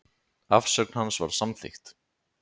Afsögn hans var samþykkt.